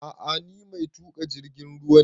A'a ni mai tuƙa jirgin ruwa ne